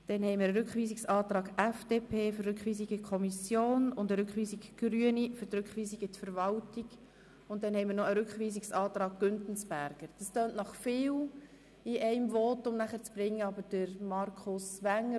Weiter liegt vor ein Antrag der FDP auf Rückweisung in die Kommission und ein Rückweisungsantrag Grüne für die Rückweisung in die Verwaltung.